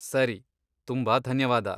ಸರಿ! ತುಂಬಾ ಧನ್ಯವಾದ.